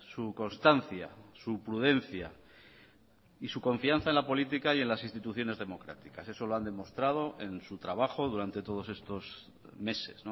su constancia su prudencia y su confianza en la política y en las instituciones democráticas eso lo han demostrado en su trabajo durante todos estos meses